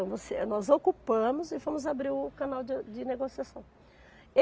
Então, nós ocupamos e fomos abrir o canal de de negociação.